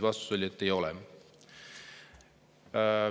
Vastus oli, et ei ole.